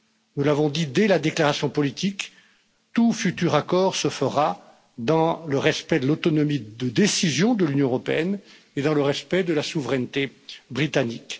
Nous l'avons dit dès la déclaration politique tout futur accord se fera dans le respect de l'autonomie de décision de l'Union européenne et dans le respect de la souveraineté britannique.